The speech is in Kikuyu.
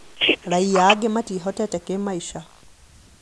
Raia aingĩ matiĩhotete kĩmaica